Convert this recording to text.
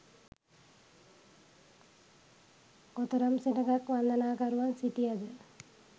කොතරම් සෙනඟක් වන්දනාකරුවන් සිටියද